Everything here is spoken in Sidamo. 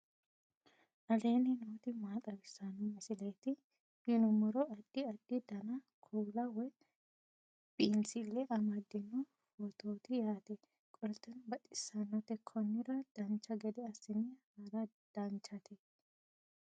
aleenni nooti maa xawisanno misileeti yinummoro addi addi dananna kuula woy biinsille amaddino footooti yaate qoltenno baxissannote konnira dancha gede assine haara danchate